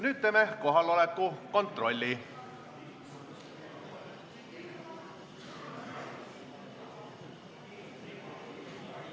Nüüd teeme kohaloleku kontrolli.